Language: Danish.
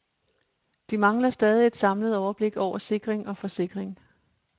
De mangler stadig et samlet overblik over sikring og forsikring.